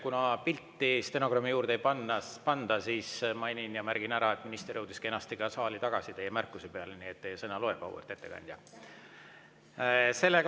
Kuna pilti stenogrammi juurde ei panda, siis mainin ja märgin ära, et minister jõudis teie märkuse peale kenasti ka saali tagasi, nii et teie sõna loeb, auväärt ettekandja.